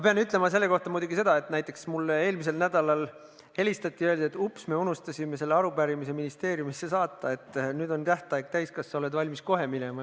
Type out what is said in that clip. Selle arupärimise kohta ma pean küll ütlema seda, et mulle eelmisel nädalal helistati ja öeldi, et, ups, me unustasime selle arupärimise ministeeriumisse saata, nüüd on tähtaeg täis, kas sa oled valmis kohe vastama.